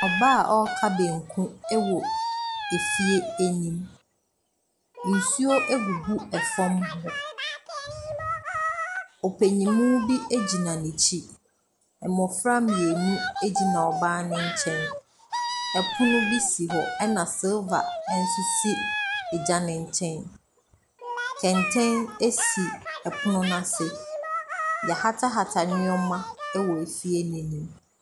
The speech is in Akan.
Ɔbaa a ɔreka banku wɔ efie anim. Nsuo agugu hɔ. Ɔpanin bi gyina n'akyi. Mmɔfra mmienu gyina ɔbaa no nkyɛn. Ɛpono bi si hɔ na silver nso si egya no nkyɛn. Kɛntɛn si pono no ase. Wɔahatahata nneɛma wɔ efie no anim.